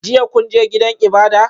Jiya kun je gidan ibada?